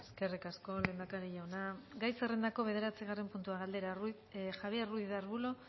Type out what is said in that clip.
eskerrik asko lehendakari jauna gai zerrendako bederatzigarren puntua aldera javier ruiz de arbulo